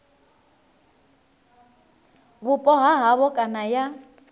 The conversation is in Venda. vhupo ha havho kana ya